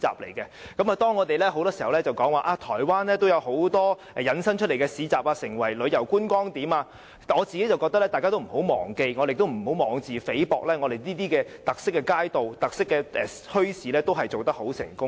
很多時候，當我們提到台灣有很多市集引申成為旅遊觀光點時，我個人認為大家不要忘記——也不要妄自菲薄——我們的特色街道和特色墟市，其實也是做得很成功的。